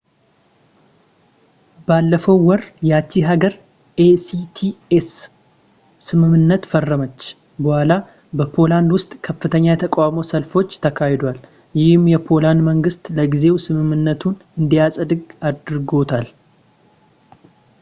ባለፈው ወር፣ ያቺ ሀገር ኤ.ሲ.ቲ.ኤ ስ ስምምነት ፈረመች በኋላ፣ በፖላንድ ውስጥ ከፍተኛ የተቃውሞ ሰልፎች ተካሂደዋል፣ ይህም የፖላንድ መንግስት ለጊዜው ስምምነቱን እንዳያጸድቅ አድርጎታል